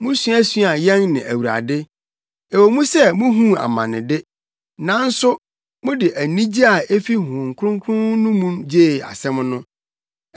Musuasuaa yɛn ne Awurade; ɛwɔ mu sɛ muhuu amane de, nanso mode anigye a efi Honhom Kronkron no mu gyee asɛm no.